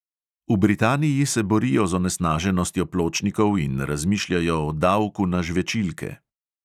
V britaniji se borijo z onesnaženostjo pločnikov in razmišljajo o davku na žvečilke.